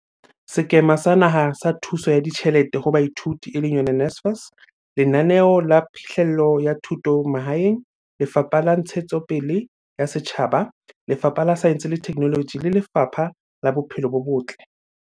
Sekema sa Naha sa Thuso ya Ditjhelete ho Baithuti, NSFAS, Lenaneo la Phihlello ya Thuto Mahaeng, Lefapha la Ntshetsopele ya Setjhaba, Lefapha la Saense le Theknoloji le Lefapha la Bophelo bo Botle.